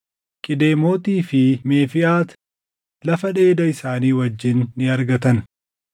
Qidemootii fi Meefiʼaati lafa dheeda isaanii wajjin ni argatan.